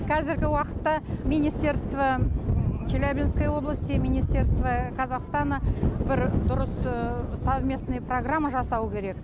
қазіргі уақытта министерство челябинской области министерство казахстана бір дұрыс совместный программа жасау керек